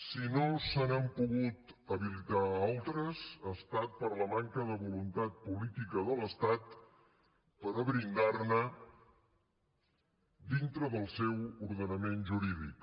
si no se n’han pogut habilitar altres ha estat per la manca de voluntat política de l’estat per a brindarne dintre del seu ordenament jurídic